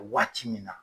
Waati min na